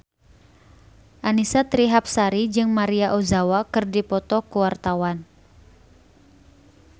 Annisa Trihapsari jeung Maria Ozawa keur dipoto ku wartawan